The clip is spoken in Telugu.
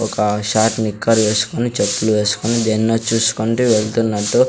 ఒక ఆ షార్ట్ నిక్కర్ చేసుకొని చెప్పులు వేసుకుని దేనినో చూసుకుంటూ వెళ్తున్నట్టు --